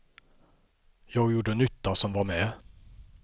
Jag gjorde nytta som var med.